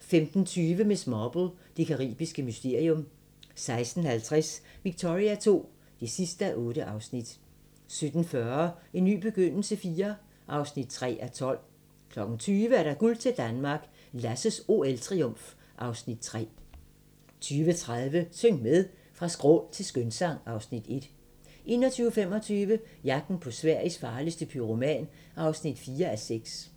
15:20: Miss Marple: Det caribiske mysterium 16:50: Victoria II (8:8) 17:40: En ny begyndelse IV (3:12) 20:00: Guld til Danmark - Lasses OL-triumf (Afs. 3) 20:30: Syng med! Fra skrål til skønsang (Afs. 1) 21:25: Jagten på Sveriges farligste pyroman (4:6)